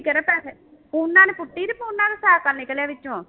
ਕਿਹੜਾ ਪੈਸੇ ਪੂਨਾ ਨੇ ਪੁੱਟੀ, ਪੂਨਾ ਨੂੰ ਸਾਇਕਲ ਨਿਕਲਿਆ ਵਿੱਚੋਂ